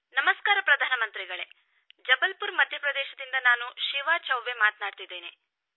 ನಮಸ್ಕಾರ ಪ್ರಧಾನ ಮಂತ್ರಿಗಳೇ ನಾನು ಶಿವಾ ಚೌಬೆ ಮಧ್ಯ ಪ್ರದೇಶದ ಜಬಲ್ಪುರ್ದಿಂದ ಮಾತಾಡುತ್ತಿದ್ದೇನೆ